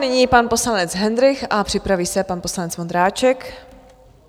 Nyní pan poslanec Hendrych a připraví se pan poslanec Vondráček.